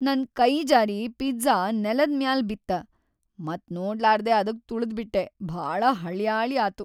ನನ್ ಕೈಜಾರಿ ಪಿಜ್ಜಾ ನೆಲದ್ ಮ್ಯಾಲ್ ಬಿತ್ತ ಮತ್‌ ನೋಡ್ಲಾರ್ದೆ ಅದಕ್ ತುಳದ್ಬಿಟ್ಟೆ, ಭಾಳ ಹಳ್ಯಾಳಿ ಆತು.